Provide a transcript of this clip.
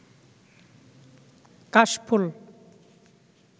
কাশফুল